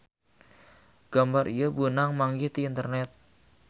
Gambar ieu beunang manggih ti internet.